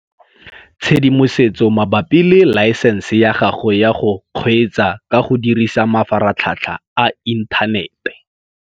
Tshedimosetso mabapi le laesense ya gago ya go kgweetsa ka go dirisa mafaratlhatlha a inthanete.